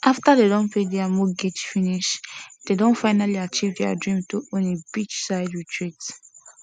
after dey don pay their mortgage finish dey don finally achieve their dream to own a beachside retreat